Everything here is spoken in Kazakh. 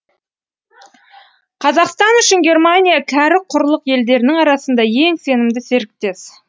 қазақстан үшін германия кәрі құрлық елдерінің арасында ең сенімді серіктес